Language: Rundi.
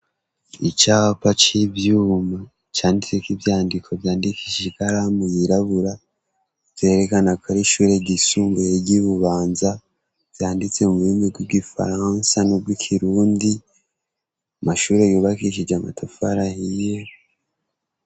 Icapa c'ivyuma canditse ko'ivyandiko vyandikishe ikalamu yirabura zerekana ko ari ishure gisumbuye ryibubanza vyanditse mu bbimi bbwo i faransa n'ubwo ikirundi mashure yubakishije amatafarahiyeho.